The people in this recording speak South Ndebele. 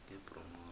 ngebronghoro